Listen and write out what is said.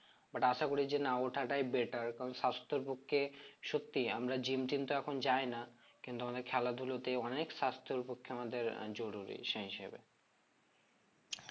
but আশা করি যে না ওঠাটাই better কারণ সাস্থের পক্ষে সত্যি আমরা gym টিম তো এখন যাই না কিন্তু অনেক খেলা ধুলাতে অনেক সাস্থর পক্ষে আমাদের জরুরি সেই হিসেবে